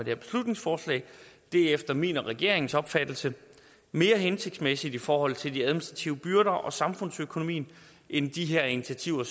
her beslutningsforslag er efter min og regeringens opfattelse mere hensigtsmæssige i forhold til de administrative byrder og samfundsøkonomien end de her initiativer